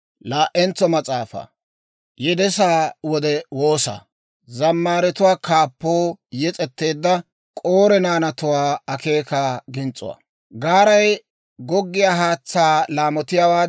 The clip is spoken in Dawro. Gaaray goggiyaa haatsaa laamotiyaawaadan, Abeet S'oossaw, hewaadan taanikka neena laamotay.